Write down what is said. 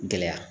Gɛlɛya